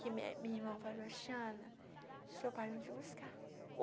Que me minha irmã falou Sebastiana, seu pai vai vim te buscar.